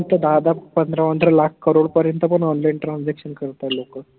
त दाहा दाहा पंधरा पंधरा lakh crore पर्यंत पन online transaction करत आहे लोक